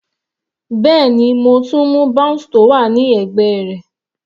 Bẹ́ẹ̀ni, mo tún mú bounce tó wà ní ẹ̀gbẹ́ rẹ̀.